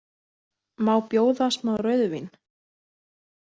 Má bjóða smá rauðvín?